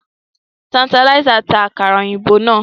Tanterlizer ń ta àkàrà òyìnbó náà